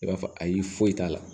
I b'a fɔ ayi foyi t'a la